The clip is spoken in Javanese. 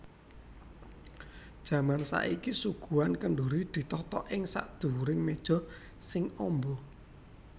Jaman saiki suguhan kendhuri ditata ing sakdhuwuring méja sing amba